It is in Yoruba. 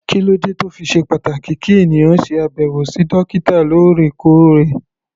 Kí ló dé tó fi ṣe pàtàkì kí ènìyàn ṣe àbẹ̀wò sí dókítà lóòrèkóòrè?